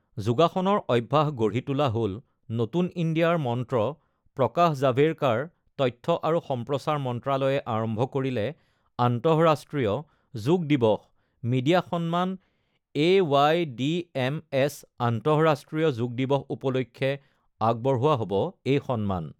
যোগাসনৰ অভ্যাস গঢ়ি তোলা হ'ল নতুন ইণ্ডিয়াৰ মন্ত্ৰ প্ৰকাশ জাভেড়কাৰ তথ্য আৰু সম্প্ৰচাৰ মন্ত্ৰালয়ে আৰম্ভ কৰিলে আন্তঃৰাষ্ট্ৰীয় যোগ দিৱস মিডিয়া সন্মান এৱাইডিএমএছ আন্তঃৰাষ্ট্ৰীয় যোগ দিৱস উপলক্ষে আগবঢ়োৱা হ'ব এই সন্মান